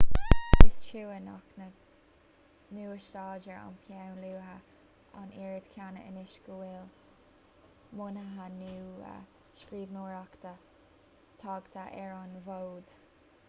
is trua nach n-úsáidtear an peann luaidhe an oiread céanna anois go bhfuil modhanna nua scríbhneoireachta tagtha ar an bhfód